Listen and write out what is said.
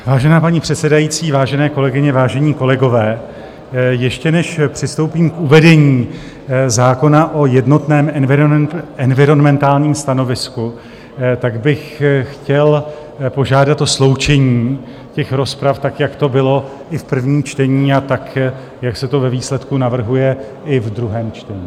Vážená paní předsedající, vážené kolegyně, vážení kolegové, ještě než přistoupím k uvedení zákona o jednotném environmentálním stanovisku, tak bych chtěl požádat o sloučení těch rozprav tak, jak to bylo i v prvním čtení, a tak, jak se to ve výsledku navrhuje i v druhém čtení.